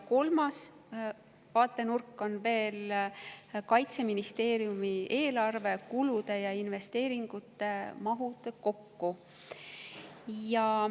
Kolmas vaatenurk on veel: Kaitseministeeriumi eelarve kulude ja investeeringute mahud kokku.